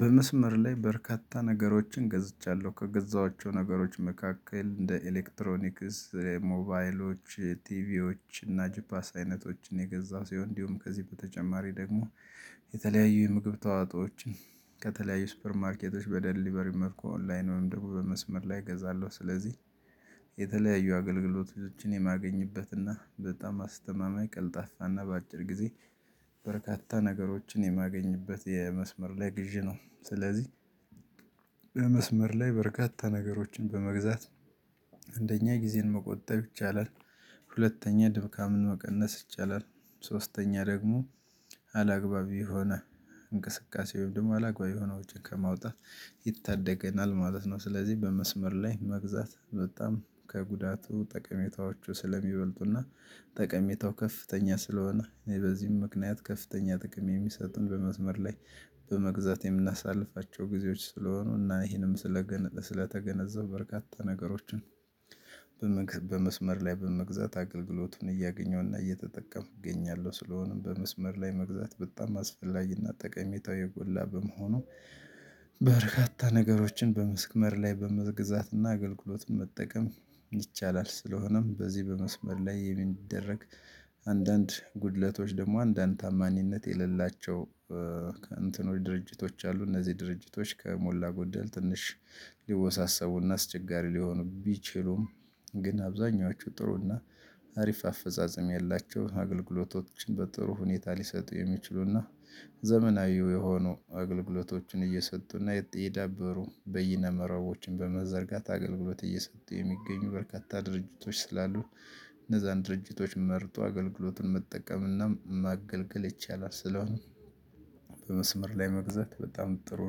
በመስመር ላይ በርካታ ነገሮችን ገዝቻለሁ ከገዛቸው ነገሮች መካከል እንደ ኤሌክትሮኒክስ ሞባይሎች ቲቪዎች እና ጅፓስ አይነቶችን የገዛው ሲሆን እንዲሁም ከዚህ በተጨማሪ ደግሞ የተለያዩ የምግብ ተዋጦዎች ከተለያዩ ሱፐር ማርኬቶች በደሊቨሪ መልኩ ኦንላይን ወይም ደግሞ በመስመር ላይ እገዛለሁ። ስለዚህ የተለያዩ አገልግሎቶችን የማገኝበትና በጣም አስተማማኝ ቅልጣፋና በአጭር ጊዜ በርካታ ነገሮችን የማገኝበት የመስመር ላይ ግዢ ነው። ስለዚህ በመስመር ላይ በርካታ ነገሮችን በመግዛት አንደኛ ጊዜን መቆጠብ ይቻላል። ሁለተኛ ድካምን መቀነስ ይቻላል። ሶስተኛ ደግሞ አላግባቢ የሆነ እንቅስቃሴ ወንድም አላግባብ የሆነውን ወጭ ከማውጣት ይታደገናል ማለት ነው። ስለዚህ በመስመር ላይ መግዛት በጣም ከጉዳቱ ጠቀሜታዎቹ ስለሚበልጡና ጠቀሜታው ከፍተኛ ስለሆነ በዚህም ምክንያት ከፍተኛ ጥቅም የሚሰጡን በመዝመር ላይ በመግዛት የምናሳልፋቸው ጊዜዎች ስለሆኑ እና ይሄንም ስለተገነዘቡ በርካታ ነገሮችን በመግዛት በመስመር ላይ በመግዛት አገልግሎቱን እያገኘሁና እየተጠቀምኩ እገኛለሁ። ስለሆነም በመስመር ላይ መግዛት በጣም አስፈላጊና ጠቀሜታው የጎላ በመሆኑ በርካታ ነገሮችን በመስመር ላይ በመግዛትና አገልግሎትም መጠቀም ይቻላል። ስለሆነም በዚህ በመስመር ላይ የሚደረግ አንዳንድ ጉድለቶች ደግሞ አንዳንድ ታማኝነት የሌላቸው እንትኖች ድርጅቶች አሉ እነዚህ ድርጅቶች ከሞላ ጎደል ትንሽ ሊወሳሰቡና አስቸጋሪ ሊሆኑ ቢችሉም ግን አብዛኛዎቹ ጥሩ እና አሪፍ አፈጻጸም ያላቸው አገልግሎቶችን በጥሩ ሁኔታ ሊሰጡ የሚችሉና ዘመናዊው የሆኑ አገልግሎቶችን እየሰጡና የዳበሩ በይነ መረቦችን በመዘርጋት አገልግሎት እየሰጡ የሚገኙ በርካታ ድርጅቶች ስላሉ እነዛን ድርጅቶች መርጦ አገልግሎትን መጠቀምና ማገልገል ይቻላል። ስለሆነ በመስመር ላይ መግዛት በጣም ጥሩ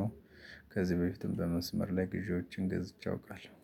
ነው። ከዚህ በፊትም በመስመር ላይ ግዢዎችን ገዝቼ አውቃለሁ።